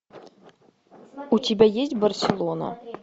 у тебя есть барселона